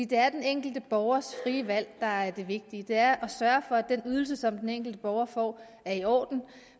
det er den enkelte borgers frie valg der er det vigtige det er at sørge for at den ydelse som den enkelte borger får er i orden